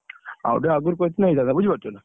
ଆଉ ଟିକେ ଆଗରୁ କହିଥିଲେ, ହେଇଥାନ୍ତା ବୁଝିପାରୁଛ ନା?!